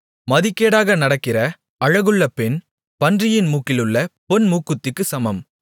மதிகேடாக நடக்கிற அழகுள்ள பெண் பன்றியின் மூக்கிலுள்ள பொன் மூக்குத்திக்குச் சமம்